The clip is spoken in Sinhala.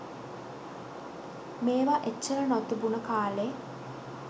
මේව එච්චර නොතිබුන කාලෙ